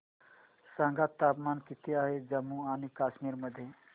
सांगा तापमान किती आहे जम्मू आणि कश्मीर मध्ये